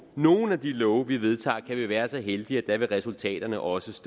nogle af de love vi vedtager kan vi være så heldige at resultaterne også